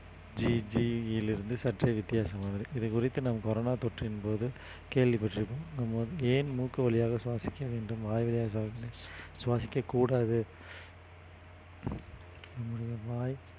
சற்றே வித்தியாசமானது இது குறித்து நாம் corona தொற்றின் போது கேள்விப்பட்டிருப்போம் நம்ம ஏன் மூக்கு வழியாக சுவாசிக்க வேண்டும் வாய் வழியாக சுவாசிக்~ சுவாசிக்கக் கூடாது நம்முடைய வாய்